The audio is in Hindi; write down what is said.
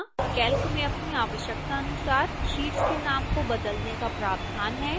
calc में अपनी आवश्यकतानुसार sheets के नाम को बदलने का प्रावधान है